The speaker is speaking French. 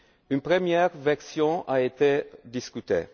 Une première version a été discutée.